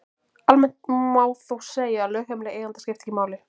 Almennt má þó segja að lögheimili eiganda skipti ekki máli.